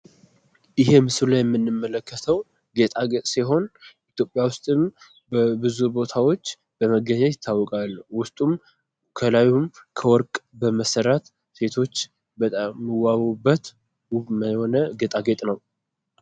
ይሀ ምስሉ ላይ የምንመለከተው ጌጣጌጥ ሲሆን፤ ኢትዮጵያ ዉስጥም ብዙ ቦታዎች በመገኘት ይታወቃል። ዉስጡም ከላዩም ከወርቅ በመሰራት ሴቶች በጣም የሚዋቡበት ዉብ የሆነ ጌጣጌጥ ነው።